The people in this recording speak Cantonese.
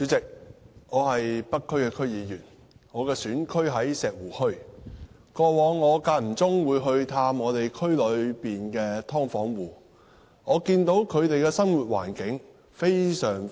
主席，我是北區區議員，選區在石湖墟，我以往間中探望區內的"劏房戶"時，看到他們的生活環境非常惡劣。